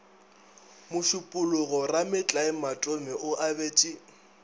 mošupologo rametlae matome o abetše